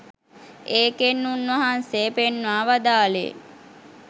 ඒකෙන් උන්වහන්සේ පෙන්වා වදාළේ